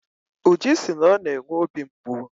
Uju si na ọ na-enwe obi mgbu.